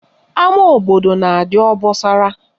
Ama obodo na-adị obosara